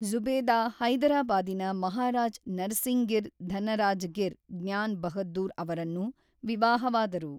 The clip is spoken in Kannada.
ಜ಼ುಬೇದಾ ಹೈದರಾಬಾದಿನ ಮಹಾರಾಜ್ ನರಸಿಂಗಿರ್ ಧನರಾಜಗಿರ್ ಜ್ಞಾನ್ ಬಹದ್ದೂರ್ ಅವರನ್ನು ವಿವಾಹವಾದರು.